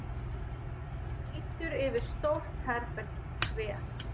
Lítur yfir stórt herbergið, kveð